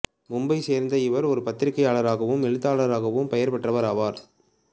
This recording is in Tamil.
மும்பையைச் சேர்ந்த இவர் ஒரு பத்திரிகையாளராகவும் எழுத்தாளராகவும் பெயர் பெற்றவர் ஆவார்